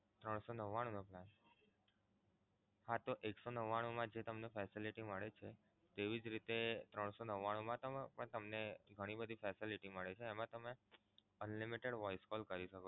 ત્રણ સો નવ્વાણું નો plan? જો એક સો નવ્વાણું મા જે તમને facility મળે છે તમને તેવી જ રીતે ત્રણ સો નવ્વાણું મા તમે તમને ઘણી બધી facility મળે છે એમા તમે Unlimited voice calls કરી શકો છો.